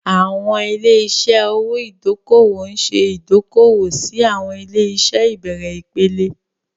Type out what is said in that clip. Àwọn ilé-iṣẹ́ owó ìdókòwò ń ṣe ìdókòwò sí àwọn ilé-iṣẹ́ ìbẹ̀rẹ̀ ìpele.